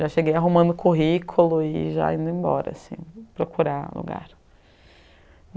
Já cheguei arrumando currículo e já indo embora assim, procurar lugar.